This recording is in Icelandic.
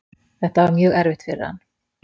Þetta var mjög erfitt fyrir hann.